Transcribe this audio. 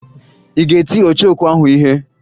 Ị ga-eti ọchọokwu ahụ ihe?